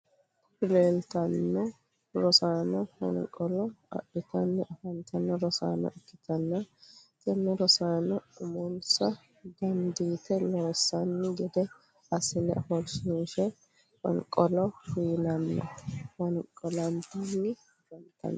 Kuri lelitano rossano foniqqolo adhitanni afanitano rossano ikitana tene rosanono umonissa dannidite loosani gede asine offoshshinishe foniqqolo uyinana fooniqqolanitani afafnitano.